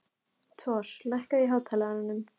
Thor, lækkaðu í hátalaranum.